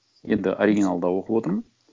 енді оригиналда оқып отырмын